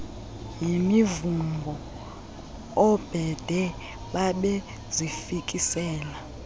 yimivumbo oobhede babezifikisela